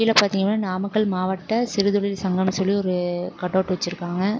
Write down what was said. இதுல பாதீங்கனா நாமக்கல் மாவட்ட சிறுதொழில் சங்கம் சொல்லி ஒரு கட்அவுட் வெச்சு இருக்காங்க.